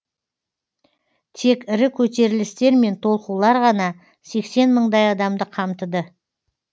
тек ірі көтерілістер мен толқулар ғана сексен мыңдай адамды қамтыды